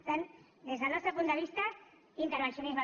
per tant des del nostre punt de vista intervencionisme